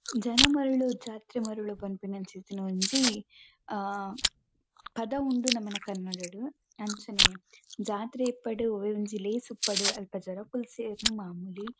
ಜನ ಮರುಳೋ ಜಾತ್ರೆ ಮರುಳೋ ಪನ್ಪುನಂಚಿತ್ತಿನ ಒಂಜಿ ಆ ಪದ ಉಂಡು ನಮನ ಕನ್ನಡಡ್ ಅಂಚೆನೆ ಜಾತ್ರೆ ಇಪ್ಪಡ್ ಒವ್ವೆ ಒಂಜಿ ಲೇಸ್ ಉಪ್ಪಡ್ ಅಲ್ಪ ಜನಕುಲು ಸೇರುನು ಮಾಮೂಲಿ.